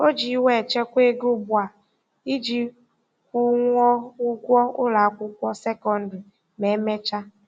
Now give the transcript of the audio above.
O ji iwe echekwa ego ugbu a iji kwụnwuo ụgwọ ụlọakwụkwọ sekondịrị ma e mechaa.